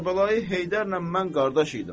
Kərbəlayı Heydərlə mən qardaş idim.